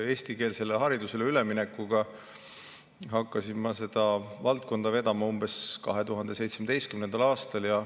Eestikeelsele haridusele üleminekut ja seda valdkonda hakkasin ma vedama umbes 2017. aastal.